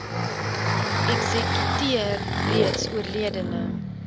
eksekuteur reeds oorledene